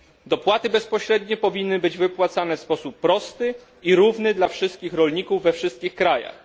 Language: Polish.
Dopłaty bezpośrednie powinny być wypłacane w sposób prosty i równy dla wszystkich rolników we wszystkich krajach.